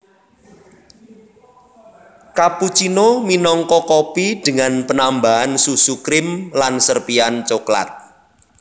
Cappuccino minangka kopi dengan penambahan susu krim lan serpihan cokelat